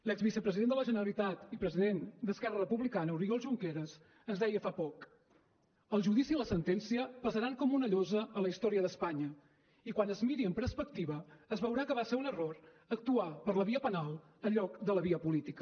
l’exvicepresident de la generalitat i president d’esquerra republicana oriol junqueras ens deia fa poc el judici i la sentència pesaran com una llosa a la història d’espanya i quan es miri amb perspectiva es veurà que va ser un error actuar per la via penal en lloc de la via política